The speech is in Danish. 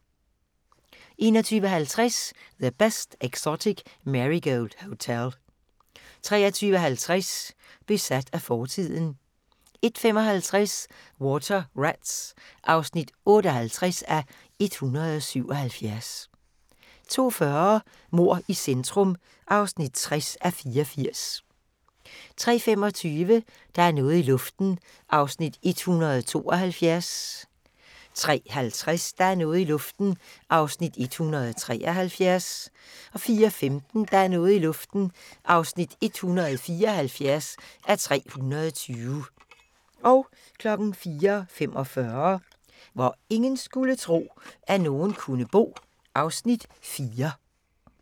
21:50: The Best Exotic Marigold Hotel 23:50: Besat af fortiden 01:55: Water Rats (58:177) 02:40: Mord i centrum (60:84) 03:25: Der er noget i luften (172:320) 03:50: Der er noget i luften (173:320) 04:15: Der er noget i luften (174:320) 04:45: Hvor ingen skulle tro, at nogen kunne bo (Afs. 4)